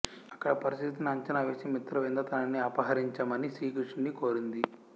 అక్కడి పరిస్థితిని అంచనా వేసిన మిత్రవింద తనని అపహరించమని శ్రీకృష్ణుడిని కోరింది